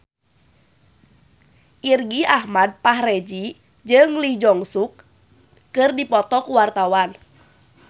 Irgi Ahmad Fahrezi jeung Lee Jeong Suk keur dipoto ku wartawan